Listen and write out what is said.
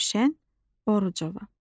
Gülşən Orucova.